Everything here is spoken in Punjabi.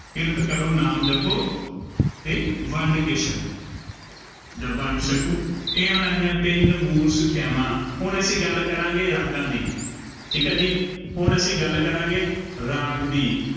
ਕਿਰਤ ਕਰੋ, ਨਾਮ ਜਪੋ ਅਤੇ ਵੰਡ ਕੇ ਛਕੋ। ਜਾਂ ਵੰਡ ਛਕੋ ਇਹ ਉਹਨਾਂ ਦੀਆਂ ਤਿੰਨ ਮੂ਼ਲ ਸਿੱਖਿਆਵਾ। ਹੁਣ ਅਸੀਂ ਗੱਲ ਕਰਾਂਗੇ, ਰਾਗਾਂ ਦੀ, ਠੀਕ ਹੈ ਜੀ, ਹੁਣ ਅਸੀਂ ਗੱਲ ਕਰਾਂਗੇ, ਰਾਗ ਦੀ